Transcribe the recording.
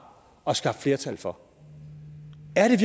og skaffet flertal for